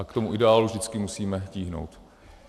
A k tomu ideálu vždycky musíme tíhnout.